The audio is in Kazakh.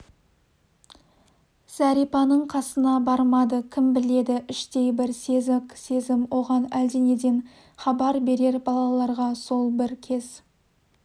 зәрипаның қасына бармады кім біледі іштей бір сезік-сезім оған әлденеден хабар берер балаларға сол бір кез